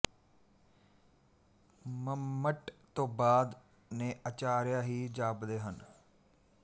ਮੰਮਟ ਤੋਂ ਬਾਅਦ ਦੇ ਆਚਾਰੀਆ ਹੀ ਜਾਪਦੇ ਹਨ